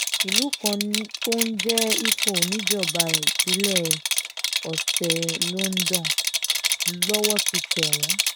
ìlú kan tó ń jẹ́ ifò níjọba ìbílẹ̀ ọ̀sẹ̀ londo lowó ti tẹ̀ wọ́n